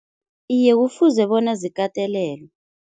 Iye kufuze bona zikatelelwe.